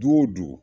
Du o du du